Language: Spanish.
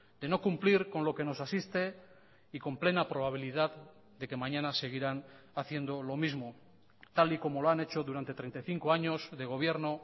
de no cumplir con lo que nos asiste y con plena probabilidad de que mañana seguirán haciendo lo mismo tal y como lo han hecho durante treinta y cinco años de gobierno